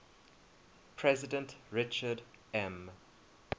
president richard m